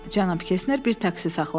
Cənab Kesner bir taksi saxladı.